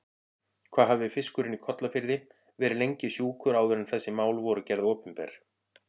Hvað hafði fiskurinn í Kollafirði verið lengi sjúkur áður en þessi mál voru gerð opinber?